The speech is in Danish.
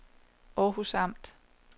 Århus Amt